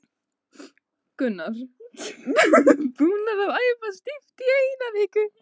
Una: Búnir að æfa stíft í eina viku?